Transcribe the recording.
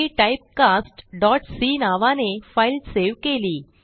मी typecastसी नावाने file save केली